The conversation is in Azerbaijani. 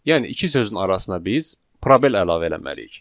Yəni iki sözün arasına biz probel əlavə eləməliyik.